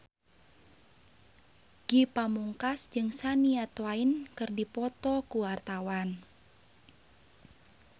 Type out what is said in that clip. Ge Pamungkas jeung Shania Twain keur dipoto ku wartawan